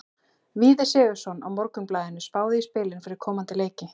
Víðir Sigurðsson á Morgunblaðinu spáði í spilin fyrir komandi leiki.